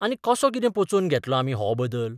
आनी कसो कितें पचोवन घेतलो आमी हो बदल?